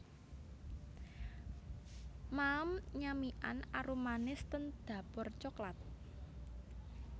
Maem nyamikan arumanis ten Dapur Coklat